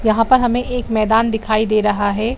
यहाँ पर हमें एक मैदान दिखाई दे रहा है।